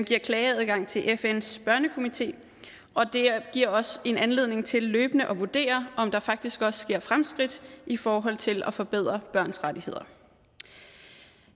giver klageadgang til fns børnekomité det giver os en anledning til løbende at vurdere om der faktisk også sker fremskridt i forhold til at forbedre børns rettigheder